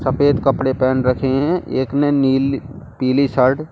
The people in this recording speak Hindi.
सफेद कपड़े पहन रखे हैं एक ने नील पीली शर्ट --